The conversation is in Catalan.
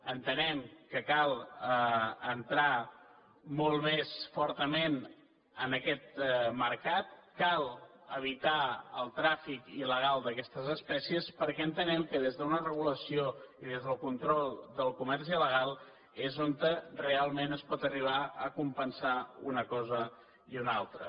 entenem que cal entrar molt més fortament en aquest mercat cal evitar el tràfic il·legal d’aquestes espècies perquè entenem que des d’una regulació i des del control del comerç il·legal és com realment es poden arribar a compensar una cosa i una altra